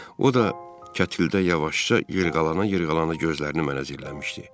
O da kətildə yavaşca yellənə-yellənə gözlərini mənə zilləmişdi.